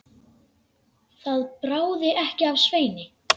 Það bráði ekki af Sveini.